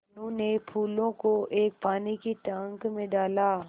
मनु ने फूलों को एक पानी के टांक मे डाला